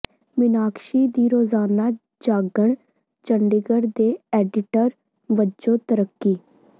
ਮੀਨਾਕਸ਼ੀ ਦੀ ਰੋਜ਼ਾਨਾ ਜਾਗਣ ਚੰਡੀਗੜ੍ਹ ਦੇ ਐਡੀਟਰ ਵਜੋਂ ਤਰੱਕੀ